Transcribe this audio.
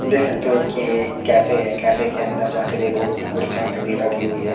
देख सकते हो कि ये एक कैफे है कैफे के अंदर जाके देखोगे की कुर्सियां टंगी लगी हुई है।